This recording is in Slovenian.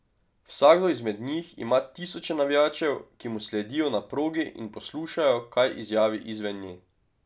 Vsakdo izmed njih ima tisoče navijačev, ki mu sledijo na progi in poslušajo, kaj izjavi izven nje.